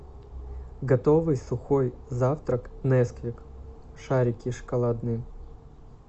готовый сухой завтрак несквик шарики шоколадные